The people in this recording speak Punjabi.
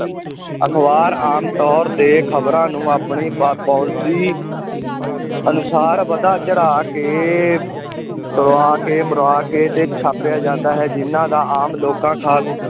ਅਖ਼ਬਾਰ ਆਮ ਤੌਰ 'ਤੇ ਖ਼ਬਰਾਂ ਨੂੰ ਆਪਣੀ ਪ~ policy ਅਨੁਸਾਰ ਵਧਾ ਚੜਾ ਕੇ ਤੁੜਾ ਕੇ, ਮੁੜਾ ਕੇ ਤੇ ਛਾਪਿਆ ਜਾਂਦਾ ਹੈ, ਜਿਨ੍ਹਾਂ ਦਾ ਆਮ ਲੋਕਾਂ ਖ਼ਾਸ